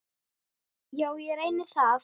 Já, ég reyni það.